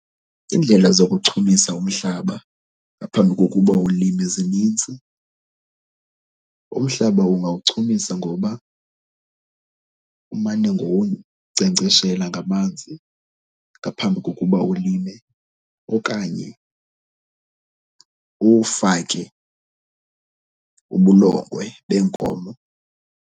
Iindlela zokuchumisa umhlaba ngaphambi kokuba ulime zinintsi. Umhlaba ungawuchumisa ngoba umane ngowunkcenkceshela ngamanzi ngaphambi kokuba ulime okanye uwufake ubulongwe beenkomo.